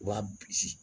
U b'a bisi